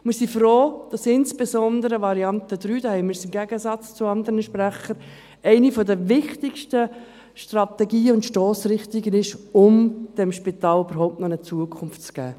Wir sind froh, dass insbesondere die Variante 3 – da haben wir einen Gegensatz zu anderen Sprechern – eine der wichtigsten Strategien und Stossrichtungen ist, um diesem Spital überhaupt noch eine Zukunft zu geben.